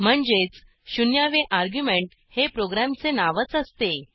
म्हणजेच शून्यावे अर्ग्युमेंट हे प्रोग्रॅमचे नावच असते